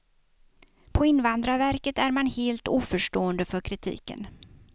På invandrarverket är man helt oförstående för kritiken.